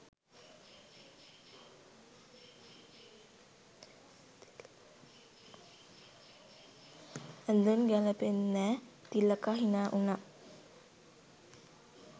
ඇඳුම් ගැලපෙන්නෙ නෑ" තිලකා හිනා උනා.